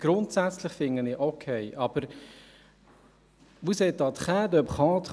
Grundsätzlich finde ich es okay, aber aber vous êtes en train de prendre